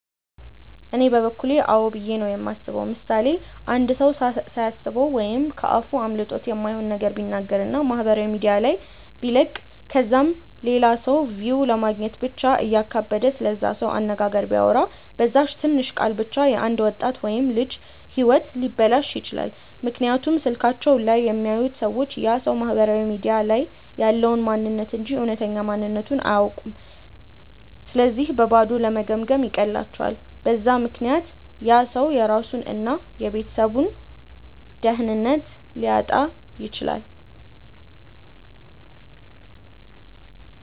እኔ በበኩሌ አዎ ብዬ ነው የማስበው። ምሳሌ፦ አንድ ሰው ሳያስበው ወይም ከ አፉ አምልጦት የማይሆን ነገር ቢናገር እና ማህበራዊ ሚዲያ ላይ ቢለቅ ከዛም ለላ ሰው ቪው ለማግኘት ብቻ እያካበደ ስለዛ ሰው አነጋገር ቢያወራ፤ በዛች ትንሽ ቃል ብቻ የ አንድ ወጣት ወይም ልጅ ህይወት ሊበላሽ ይችላል፤ ምክንያቱም ስልካቸው ላይ የሚያዩት ሰዎች ያ ሰው ማህበራዊ ሚዲያ ላይ ያለውን ማንንነት እንጂ እውነተኛ ማንነትቱን አያውኩም ስለዚህ በባዶ ለመገምገም ይቀላቸዋል፤ በዛ ምክንያት ያ ሰው የራሱን እና የቤተሰቡን ደህንነት ሊያጣ ይችላል።